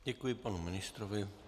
Děkuji panu ministrovi.